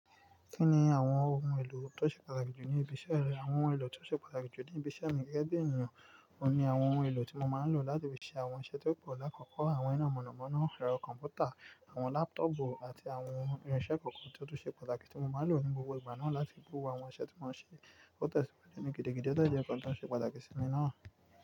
Kí ni àwọn ohun èlò tó ṣe pàtàkì jù ní ibi iṣẹ́ rẹ? Àwọn ohun èlò tó ṣe pàtàkì jù ní ibi iṣẹ́ mi gẹ́gẹ́ bí ènìyàn, òun ni àwọn ohun èlò tí mo máa ń lò láti fi ṣe àwọn iṣẹ́ tó pọ̀ làkọ̀ọ̀kọ́. Àwọn iná mọ̀nàmọ́ná, ẹ̀rọ kọ̀m̀pútà, àwọn lápútọ̀pù àti àwọn irinṣẹ́ kọ̀ọ̀kan tí ó tu ṣe pàtàkì tí mo máa ń lò ní gbogbo ìgbà náà láti bo àwọn iṣẹ́ tí mo ń ṣe. Ó te sí ní gidigidi ọ̀ de jẹ́ nǹkan tí o ṣe pàtàkì sí mi náà.